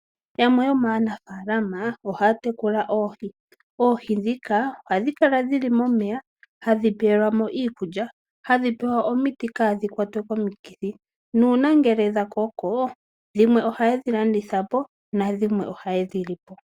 Yamwe yomaanafaalama ohaya tekula oohi. Oohi ndhika ohadhi kal adhi li momeya, hadhi pelwa mo iikulya, hadhi pewa omiti opo kaa dhi kwatwe komikithi nuuna dha koko dhimwe ohaye dhi landitha po nadhimwe ohaye dhi li po.